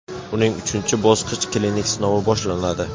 uning uchinchi bosqich klinik sinovi boshlanadi.